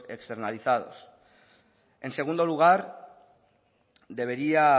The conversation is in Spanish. externalizados en segundo lugar debería